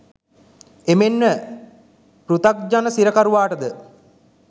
එමෙන්ම පෘතග්ජන සිරකරුවාට ද,